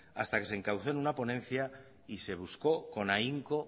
hasta que se encauzó en una ponencia y se buscó con ahínco